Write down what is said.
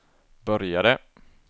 började